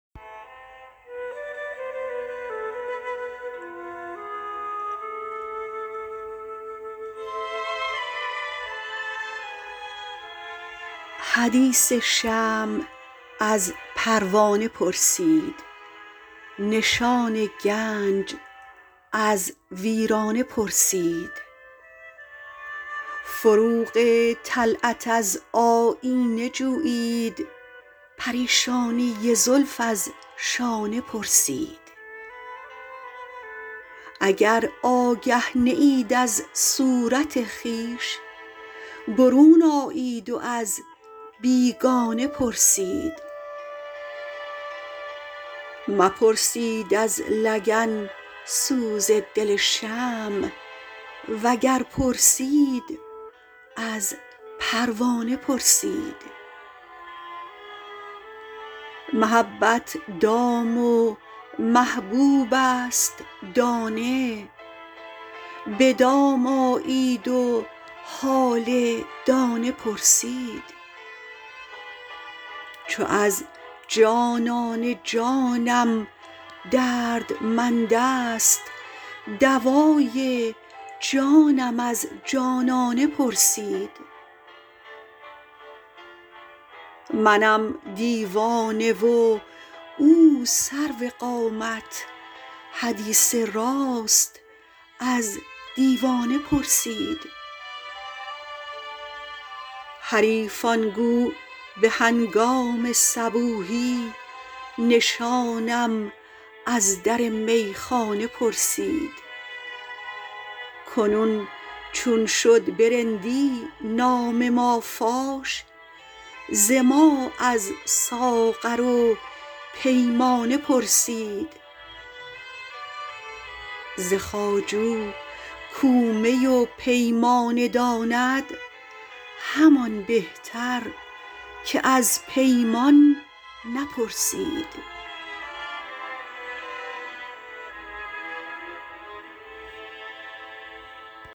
حدیث شمع از پروانه پرسید نشان گنج از ویرانه پرسید فروغ طلعت از آیینه جویید پریشانی زلف از شانه پرسید اگر آگه نیید از صورت خویش برون آیید و از بیگانه پرسید مپرسید از لگن سوز دل شمع وگر پرسید از پروانه پرسید محبت دام و محبوبست دانه بدام آیید و حال دانه پرسید چو از جانانه جانم دردمندست دوای جانم از جانانه پرسید منم دیوانه و او سرو قامت حدیث راست از دیوانه پرسید حریفان گو بهنگام صبوحی نشانم از در میخانه پرسید کنون چون شد برندی نام مافاش ز ما از ساغر و پیمانه پرسید ز خواجو کو می و پیمانه داند همان بهتر که از پیمان نپرسید